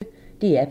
DR P1